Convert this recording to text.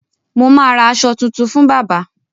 Mo ma ra aṣọ tún fún bábà